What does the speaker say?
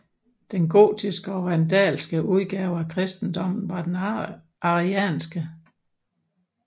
Den gotiske og vandalske udgave af kristendommen var den arianske